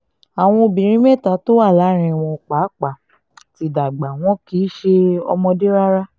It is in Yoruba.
àwọn obìnrin mẹ́ta tó wà láàrin wọn náà pàápàá ti dàgbà wọn kì í ṣe ọmọdé rárá